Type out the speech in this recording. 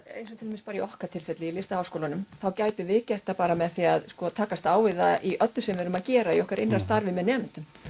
eins og í okkar tilfelli LHÍ gætum við gert það með því að takast á við það í öllu því sem við erum að gera í okkar innra starfi með nemendum